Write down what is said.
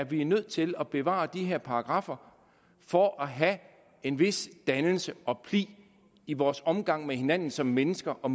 vi er nødt til at bevare de her paragraffer for at have en vis dannelse og pli i vores omgang med hinanden som mennesker og